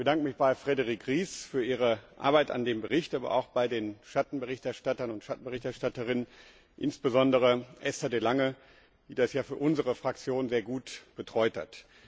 Ich bedanke mich bei Frédérique Ries für ihre Arbeit an dem Bericht, aber auch bei den Schattenberichterstattern und Schattenberichterstatterinnen, insbesondere bei Esther de Lange, die das ja für unsere Fraktion sehr gut betreut hat.